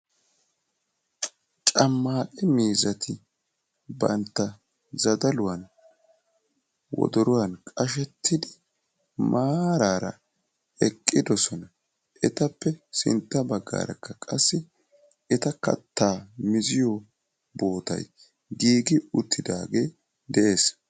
Cammaaqe miizzati bantta zadaluwan wodoruwan qashettidi maaraara eqqidosona. Etappe sintta baggaarakka qassi eta kattaa miziyo bootayi giigi uttidaagee de"es.